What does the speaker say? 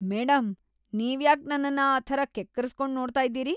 Madam ನೀವ್ಯಾಕ್‌ ನನ್ನನ್ನ ಆ ಥರ ಕೆಕ್ಕರಿಸ್ಕೊಂಡ್ ನೋಡ್ತಾ ಇದೀರಿ?